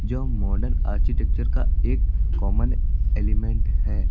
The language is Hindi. जो मॉडल आर्किटेक्चर का एक कॉमन एलिमेंट है।